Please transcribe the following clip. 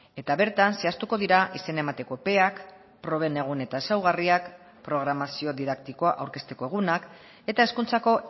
eta bertan zehaztuko dira izena emateko epeak proben egun eta ezaugarriak programazio didaktikoa aurkezteko egunak eta hezkuntzako